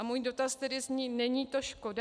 A můj dotaz tedy zní: Není to škoda?